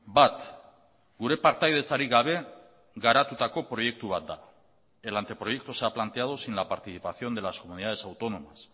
bat gure partaidetzarik gabe garatutako proiektu bat da el anteproyecto se ha planteado sin la participación de las comunidades autónomas